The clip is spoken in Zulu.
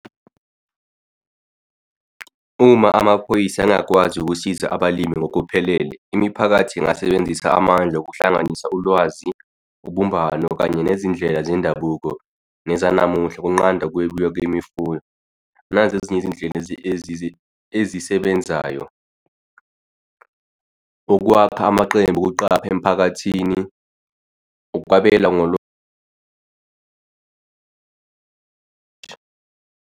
Uma amaphoyisa engakwazi ukusiza abalimi ngokuphelele imiphakathi ingasebenzisa amandla okuhlanganisa ulwazi, ubumbano, kanye nezindlela zendabuko nezanamuhla kunqanda kwemifula nazi ezinye izindlela ezisebenzayo. Ukwakha amaqembu okuqapha emiphakathini, ukwabela ngalo .